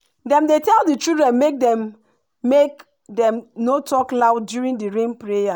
dem tell the children make dem make dem no talk loud during d rain prayer.